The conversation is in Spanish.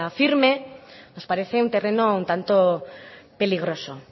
firme nos parece un terreno un tanto peligroso